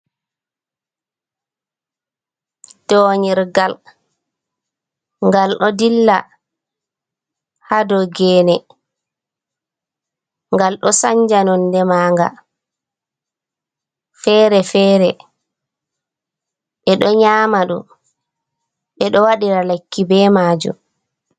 Donyirgal gal ɗo dilla ha dou gene, gal ɗo sanja nonde manga fere-fere, ɓe ɗo nyama ɗum , ɓe ɗo wadira lekki be majum.